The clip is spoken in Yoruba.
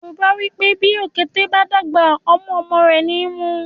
Yorùbá wípé “ bí òkété bá dàgbà tán, ọmú ọmọ rẹ̀ ni í mu”.